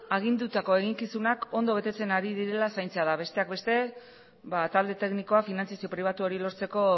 agindutako eginkizunak ondo betetzen ari direla zaintzea da besteak beste ba talde teknikoa finantzazio pribatu hori lortzeko